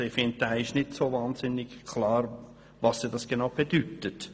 es ist nicht klar, was er genau bedeutet.